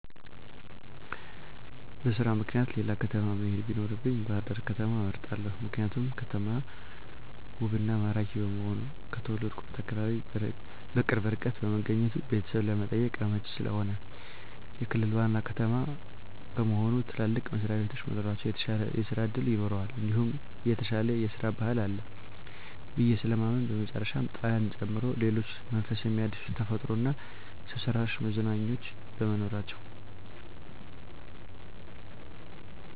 በስራ ምክኒያት ሌላ ከተማ መሄድ ቢኖርብኝ ባህርዳር ከተማን እመርጣለሁ። ምክንያቱም ከተማው ውብ እና ማራኪ በመሆኑ፣ ከተወለድሁበት አካባቢ በቅርብ ርቀት በመገኘቱ ቤተሰብ ለመጠየቅ አመቺ ስለሆነ፣ የክልል ዋና ከተማ በመሆኑ ትልልቅ መስሪያቤቶች መኖራቸው የተሻለ ስራ እድል ይኖረዋል እንዲሁም የተሻለ የስራ ባህል አለ ብየ ስለማምን በመጨረሻም ጣናን ጨምሮ ሌሎች መንፈስ ሚያድሱ ተፈጥሯዊ እና ሰውሰራሽ መዝናኛዎች በመኖራቸው።